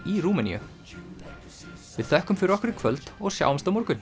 í Rúmeníu við þökkum fyrir okkur í kvöld og sjáumst á morgun